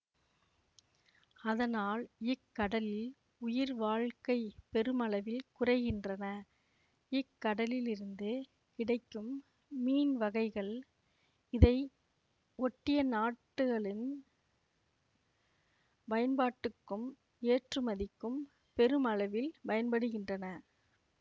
அதனால் இக்கடலில் உயிர்வாழ்க்கை பெருமளவில் குறைகின்றன இக்கடலிலிருந்து கிடைக்கும் மீன் வகைகள் இதை ஒட்டிய நாட்டுகளின் பயன்பாட்டுக்கும் ஏற்றுமதிக்கும் பெருமளவில் பயன்படுகின்றன